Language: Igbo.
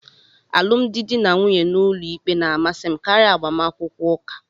Alụmdi na nwunye n'ụlọikpe na-amasị m karịa agbamakwụkwọ ụka.